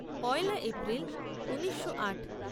পয়লা এপ্রিল ঊনিশো আট